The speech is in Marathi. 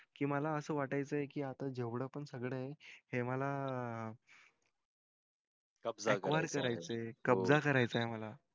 कि मला असं वाटायचं कि आपण जेवढ पण सगळं हे मला कब्जा करायचाय मला